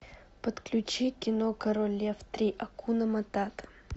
подключи кино король лев три акуна матата